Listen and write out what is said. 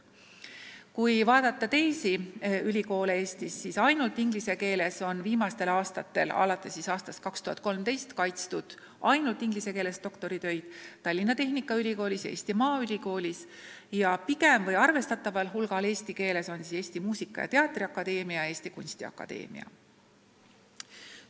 Kui vaadata teisi ülikoole Eestis, siis alates aastast 2013 on kaitstud ainult ingliskeelseid doktoritöid Tallinna Tehnikaülikoolis ja Eesti Maaülikoolis, arvestataval hulgal eestikeelseid doktoritöid on Eesti Muusika- ja Teatriakadeemias ja Eesti Kunstiakadeemias.